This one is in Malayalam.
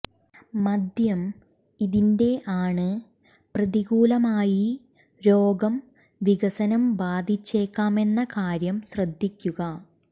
മദ്യം ഇതിൻറെ ആണ് പ്രതികൂലമായി രോഗം വികസനം ബാധിച്ചേക്കാമെന്ന കാര്യം ശ്രദ്ധിക്കുക